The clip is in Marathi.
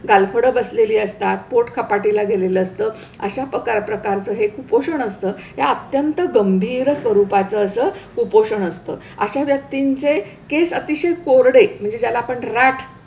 गालफडं बसलेली असतात, पोट खपाटीला गेलेलं असतं, अशा पकार प्रकारचं हे कुपोषणअसतं, हे अत्यंत गंभीर स्वरूपाचं असं कुपोषण असतं. अशा व्यक्तींचे केस अतिशय कोरडे म्हणजे ज्याला आपण राठ,